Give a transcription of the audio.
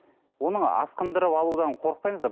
оның асқындырып алудан қорықпаймыз ба